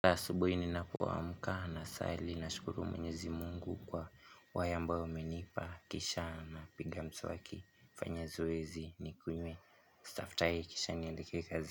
Kila asubuhi ninapo amka na sali nashukuru mwenyezi mungu kwa yale ambayo amenipa kisha na piga mswaki fanya zoezi nikunywe staftahi kisha niandike kazi.